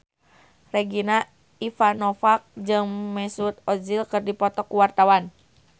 Regina Ivanova jeung Mesut Ozil keur dipoto ku wartawan